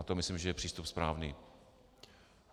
A to myslím, že je přístup správný.